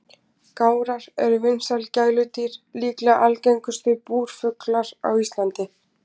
Gárar eru vinsæl gæludýr og líklega algengustu búrfuglar á Íslandi.